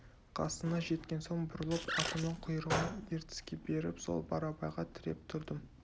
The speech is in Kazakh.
қасына жеткен соң бұрылып атымның құйрығын ертіске беріп сол барабайға тіреп тұрдым